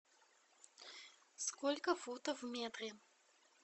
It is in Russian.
сколько футов в метре